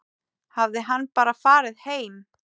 Hafði hann bara farið heim?